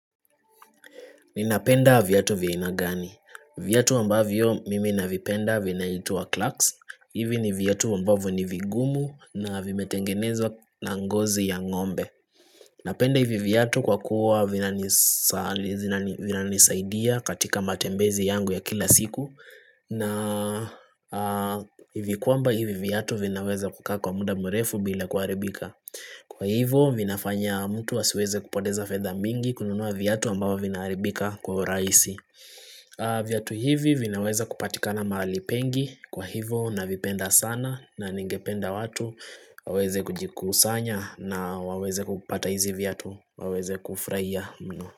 Ninapenda viatu vya aina gani. Viatu ambavyo mimi navipenda vinaitwa clarks. Hivi ni viatu ambavyo ni vigumu na vimetengenezwa na ngozi ya ng'ombe. Napenda hivi viatu kwa kuwa vina nisaidia katika matembezi yangu ya kila siku na hivi kuamba hivi viatu vinaweza kukaa kwa muda mrefu bila kuharibika. Kwa hivo, vinafanya mtu asiweze kupoteza fetha mingi kununua viatu ambavyo vinaharibika kwa uraisi Viatu hivi vinaweza kupatika na mahali pengi Kwa hivo, navipenda sana na ningependa watu waweze kujikusanya na waweze kupata hizi viatu waweze kufraia mno.